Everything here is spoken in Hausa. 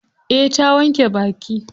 Eh ta wanke baki.